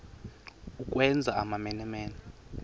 ukwenza amamene mene